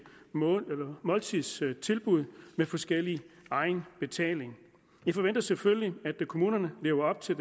måltidstilbud med forskellig egenbetaling vi forventer selvfølgelig at kommunerne lever op til